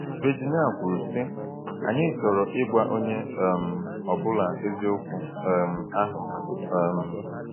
Virginia kwuru, sị: “Anyị chọrọ ịgwa onye um ọ bụla eziokwu um ahụ.” um